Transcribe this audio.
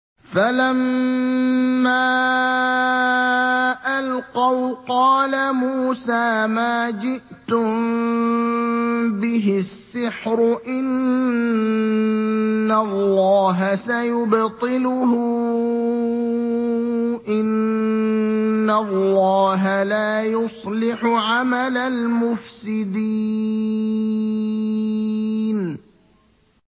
فَلَمَّا أَلْقَوْا قَالَ مُوسَىٰ مَا جِئْتُم بِهِ السِّحْرُ ۖ إِنَّ اللَّهَ سَيُبْطِلُهُ ۖ إِنَّ اللَّهَ لَا يُصْلِحُ عَمَلَ الْمُفْسِدِينَ